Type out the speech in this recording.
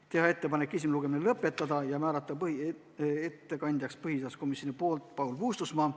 Me tegime ettepaneku siis esimene lugemine lõpetada ja määrata ettekandjaks Paul Puustusmaa.